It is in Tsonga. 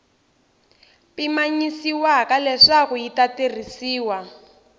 pimanyisiwaka leswaku yi ta tirhisiwa